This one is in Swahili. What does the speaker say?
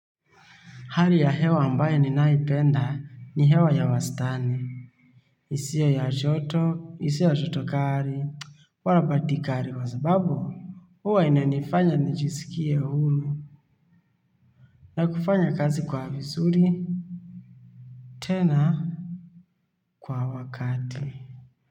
Hali ya hewa ambaye ninaipenda ni hewa ya wastani. Isiyo ya joto, isiyo ya joto kali. Wala baridi kali kwa sababu. Huwa inanifanya nijisikie huru. Na kufanya kazi kwa vizuri. Tena kwa wakati.